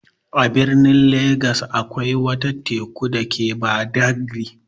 A birnin Legas akwai wata Teku dake Badagri.